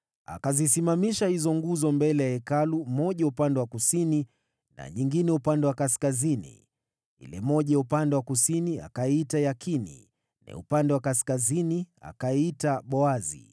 Akazisimamisha hizo nguzo mbele ya Hekalu, moja upande wa kusini na nyingine upande wa kaskazini. Ile moja ya upande wa kusini akaiita Yakini, na ya upande wa kaskazini akaiita Boazi.